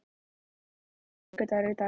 Maddý, hvaða vikudagur er í dag?